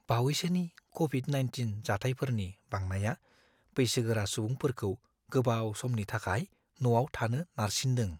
बावैसोनि क'विड-19 जाथायफोरनि बांनाया बैसोगोरा सुबुंफोरखौ गोबाव समनि थाखाय न'आव थानो नारसिनदों।